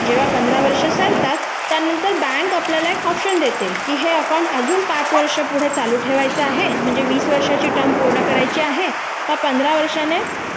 जेव्हा पंधरा वर्षे सरतात त्यानंतर बँक आपल्याला पर्याय देते की हे खाते अजून पाच वर्षे पुढे चालू ठेवायचं आहे म्हणजे वीस वर्षाचा कालावधी पूर्ण करायची आहे का पंधरा वर्षाने